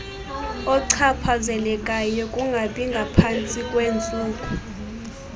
ochaphazelekayo kungabingaphantsi kweentsuku